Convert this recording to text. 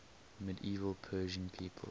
medieval persian people